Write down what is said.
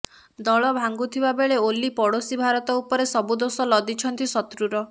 ଦଳ ଭାଙ୍ଗୁଥିବା ବେଳେ ଓଲି ପଡ଼ୋଶୀ ଭାରତ ଉପରେ ସବୁ ଦୋଷ ଲଦିଛନ୍ତି ଶତ୍ରୁର